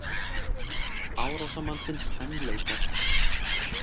Árásarmannsins enn leitað